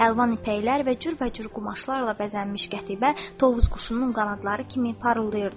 Əlvan ipəklər və cürbəcür qumaşlarla bəzənmiş qətibə tovuz quşunun qanadları kimi parıldayırdı.